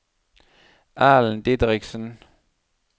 Ellen Didriksen